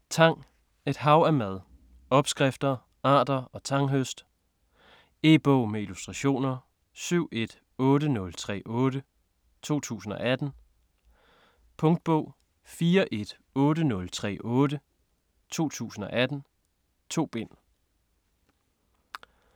Tang: et hav af mad: opskrifter, arter og tanghøst E-bog med illustrationer 718038 2018. Punktbog 418038 2018. 2 bind.